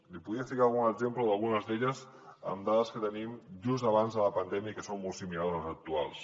li podria ficar algun exemple d’algunes d’elles amb dades que tenim de just abans de la pandèmia i que són molt similars a les actuals